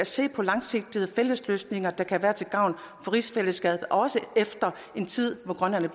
ser på langsigtede fælles løsninger der kan være til gavn for rigsfællesskabet også efter en tid hvor grønland